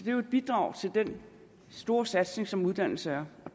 er jo et bidrag til den store satsning som uddannelse er